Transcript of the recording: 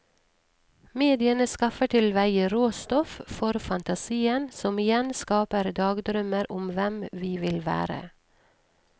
Mediene skaffer til veie råstoff for fantasien, som igjen skaper dagdrømmer om hvem vi vil være.